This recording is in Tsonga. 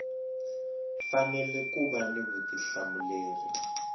fanele ku va ni vutihlamuleri